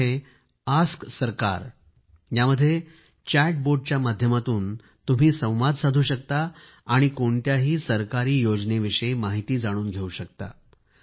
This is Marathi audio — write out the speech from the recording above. एक अॅप आहे आस्क सरकार यामध्ये चॅट बोटच्या माध्यमातून तुम्ही संवाद साधू शकता आणि कोणत्याही सरकारी योजनेविषयी माहिती जाणून घेवू शकता